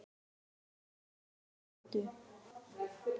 Að vera á annarri öldu